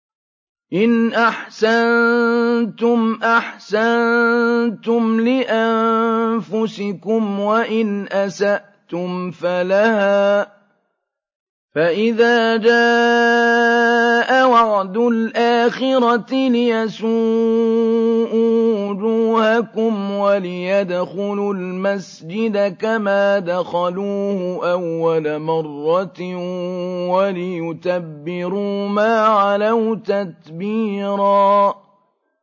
إِنْ أَحْسَنتُمْ أَحْسَنتُمْ لِأَنفُسِكُمْ ۖ وَإِنْ أَسَأْتُمْ فَلَهَا ۚ فَإِذَا جَاءَ وَعْدُ الْآخِرَةِ لِيَسُوءُوا وُجُوهَكُمْ وَلِيَدْخُلُوا الْمَسْجِدَ كَمَا دَخَلُوهُ أَوَّلَ مَرَّةٍ وَلِيُتَبِّرُوا مَا عَلَوْا تَتْبِيرًا